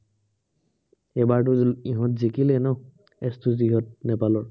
এইবাৰটো ইহঁত জিকিলে ন, এচ চুজিহঁত নেপালৰ।